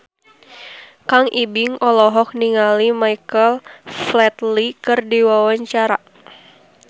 Kang Ibing olohok ningali Michael Flatley keur diwawancara